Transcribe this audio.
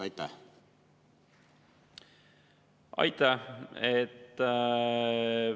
Aitäh!